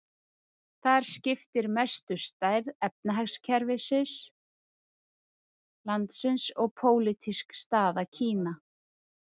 Þar skiptir mestu stærð efnahagskerfis landsins og pólitísk staða Kína.